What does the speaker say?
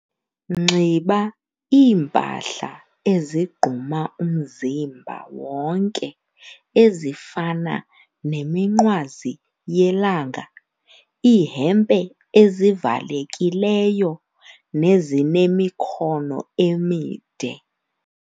Nxiba iimpahla ezigquma umzimba wonke ezifana neminqwazi yelanga, iihempe ezivalekileyo nezinemikhono emide.